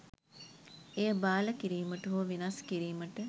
එය බාල කිරීමට හෝ වෙනස් කිරීමට